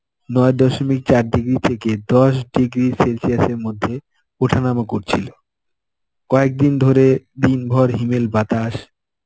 ন দশমিক চার degree থেকে দশ degree celsius এর মধ্যে ওঠানামা করছিলো. কয়েকদিন ধরে দিনভর হিমেল বাতাস.